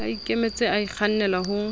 a ikemetse a ikgannale ho